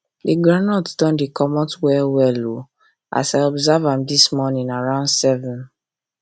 the groundnut don dey comot well well o as i observe am this morning around seven